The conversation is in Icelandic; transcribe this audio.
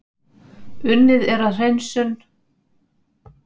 Unnið er að hreinsun